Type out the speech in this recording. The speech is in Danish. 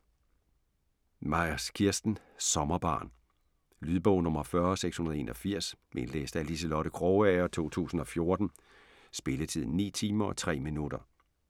Myers, Kirsten: Sommerbarn Lydbog 40681 Indlæst af Liselotte Krogager, 2014. Spilletid: 9 timer, 3 minutter.